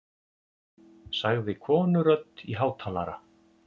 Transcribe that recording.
sagði konurödd í hátalara.